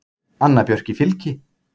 Anna Björk í Fylki.